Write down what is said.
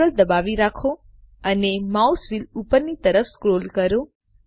Ctrl દબાવી રાખો અને માઉસ વ્હીલ ઉપરની તરફ સ્ક્રોલ કરો